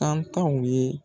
Tankaw ye